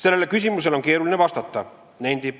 Sellele küsimusele on keeruline vastata.